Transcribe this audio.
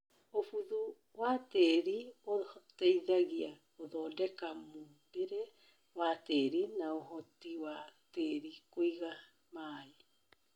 ũbũthu tĩrinĩ ũteihagia gũthondeka mũmbire wa tĩri na ũhoti wa tĩri kũiga maũ.